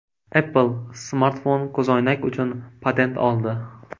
Apple smartfon-ko‘zoynak uchun patent oldi.